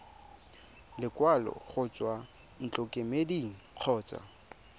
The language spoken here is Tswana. lekwalo go tswa ntlokemeding kgotsa